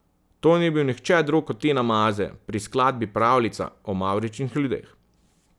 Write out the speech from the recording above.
To ni bil nihče drug kot Tina Maze pri skladbi Pravljica o mavričnih ljudeh.